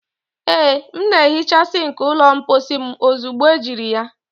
Ee m na-ehicha sink ụlọ mpochi m ozugbo ejiri ya